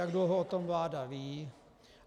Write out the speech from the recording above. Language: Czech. Jak dlouho o tom vláda ví.